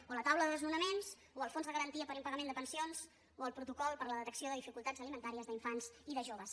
o la taula de desnonaments o el fons de garantia per impagament de pensions o el protocol per a la detecció de dificultats alimentàries d’infants i de joves